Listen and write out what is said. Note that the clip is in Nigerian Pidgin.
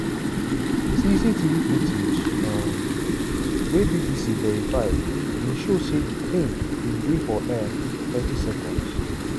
cctv footage um wey bbc verify bin show say di plane bin dey for air for thirty seconds.